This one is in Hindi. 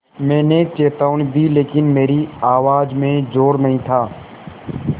मैंने चेतावनी दी लेकिन मेरी आवाज़ में ज़ोर नहीं था